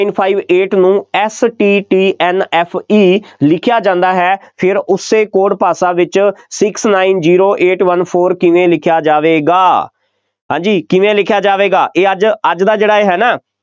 Two Five Eight ਨੂੰ STTNFE ਲਿਖ਼ਿਆ ਜਾਦਾ ਹੈ, ਫੇਰ ਉਸੇ code ਭਾਸ਼ਾ ਵਿੱਚ Six Nine Zero Eight One Four ਕਿਵੇ ਲਿਖਿਆ ਜਾਵੇਗਾ ਹਾਂਜੀ ਕਿਵੇ ਲਿਖਿਆ ਜਾਵੇਗਾ, ਇਹ ਅੱਜ, ਅੱਜ ਦਾ ਜਿਹੜਾ ਇਹ ਹੈ ਨਾ,